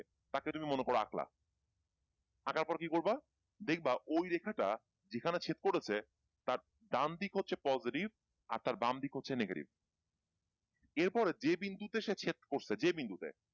তাকে তুমি মনে করো আকঁলা আকাঁর পর কী করবা দেখবা ওই রেখাটা যেখানে ছেদ করেছে তার ডান দিক হচ্ছে positive আর তার বাম দিক হচ্ছে negative এরপরে যে বিন্দুতে সে ছেদ করেছে যে বিন্দুতে,